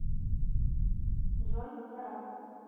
джой пора